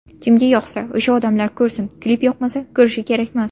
Kimga yoqsa, o‘sha odamlar ko‘rsin, klip yoqmasa ko‘rish kerakmas.